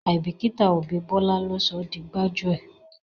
Àìbíkíta òbí Bọ́lá ló sọ di gbájúẹ̀.